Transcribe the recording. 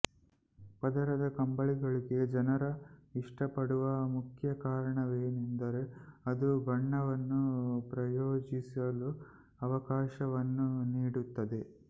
ಪದರದ ಕಂಬಳಿಗಳಿಗೆ ಜನರು ಇಷ್ಟಪಡುವ ಮುಖ್ಯ ಕಾರಣವೆಂದರೆ ಅದು ಬಣ್ಣವನ್ನು ಪ್ರಯೋಗಿಸಲು ಅವಕಾಶವನ್ನು ನೀಡುತ್ತದೆ